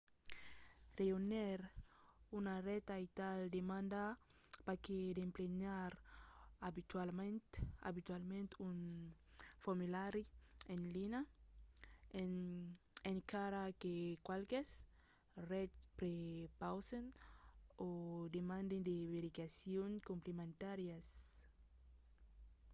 rejónher una ret aital demanda pas que d'emplenar abitualament un formulari en linha; encara que qualques rets prepausen o demanden de verificacions complementàrias